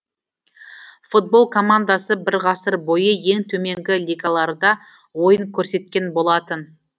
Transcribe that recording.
футбол командасы бір ғасыр бойы ең төменгі лигаларда ойын көрсеткен болатын